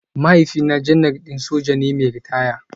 Mahaifina Janar din soja ne mai ritaya